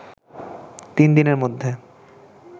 তিন দিনের মধ্যে